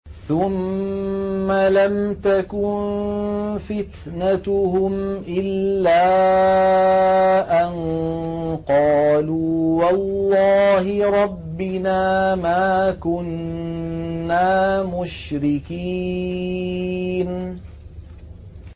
ثُمَّ لَمْ تَكُن فِتْنَتُهُمْ إِلَّا أَن قَالُوا وَاللَّهِ رَبِّنَا مَا كُنَّا مُشْرِكِينَ